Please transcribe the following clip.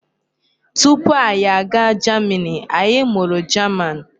Tupu anyị aga jamini, anyị mụrụ jaman.